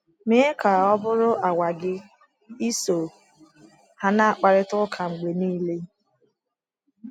Mee ka ọ bụrụ àgwà gị iso ha na - akparịta ụka mgbe nile.